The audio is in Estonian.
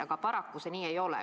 Aga paraku see nii ei ole.